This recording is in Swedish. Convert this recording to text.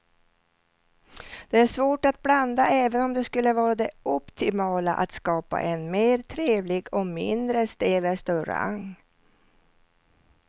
Det är svårt att blanda även om det skulle vara det optimala att skapa en mer trevlig och mindre stel restaurang.